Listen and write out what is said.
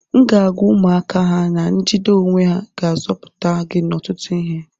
M ga-agwa ụmụaka a na njide onwe ga-azọpụta gị n'ọtụtụ ihe